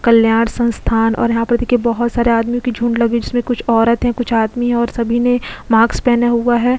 कल्याण संस्थान और यहां पर देखिए बहुत सारे आदमी की झूठ लग जिसमें कुछ औरत है कुछ आदमी और सभी ने माक्स पहने हुए हैं।